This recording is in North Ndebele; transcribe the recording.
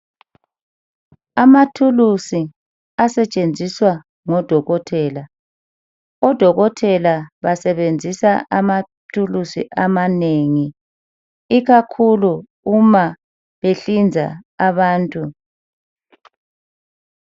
Amathulusi asetshenziswa ngodokotela. Odokotela basebenzisa amathulusi amanengi ikakhulu uma behlinza abantu.